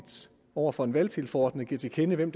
over for en valgtilforordnet giver til kende hvem